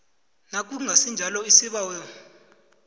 nakungasi njalo isibawo